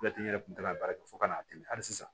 Latigɛ n yɛrɛ kun tɛna baara kɛ fo ka n'a tigɛ hali sisan